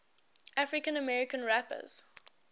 african american rappers